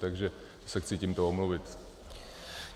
Takže se chci tímto omluvit.